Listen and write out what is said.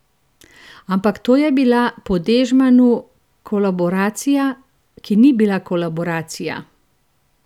Ampak to je bila po Dežmanu kolaboracija, ki ni bila kolaboracija!